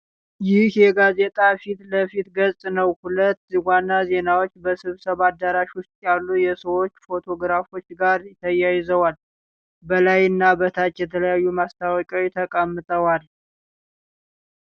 ይህ የጋዜጣ ፊት ለፊት ገጽ ነው። ሁለት ዋና ዜናዎች በስብሰባ አዳራሽ ውስጥ ያሉ የሰዎች ፎቶግራፎች ጋር ተያይዘዋል። በላይና በታች የተለያዩ ማስታወቂያዎች ተቀምጠዋል።